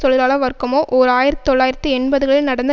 தொழிலாள வர்க்கமோ ஓர் ஆயிரத்தொள்ளாயிரத்தி எண்பதுகளில் நடந்த